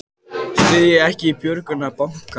Styðja ekki björgun bankanna